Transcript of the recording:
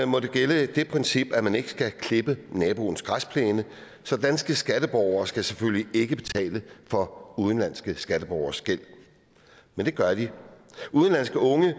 må der gælde det princip at man ikke skal klippe naboens græsplæne så danske skatteborgere skal selvfølgelig ikke betale for udenlandske skatteborgeres gæld men det gør de udenlandske unge